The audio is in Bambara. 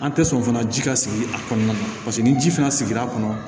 An tɛ sɔn fana ji ka sigi a kɔnɔna na paseke ni ji fana sigira a kɔnɔ